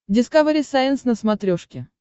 дискавери сайенс на смотрешке